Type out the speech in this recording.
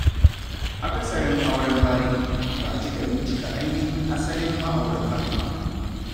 Akasarin auren bariki, ba a cika bincika ainihin asalin ma'auratan ba.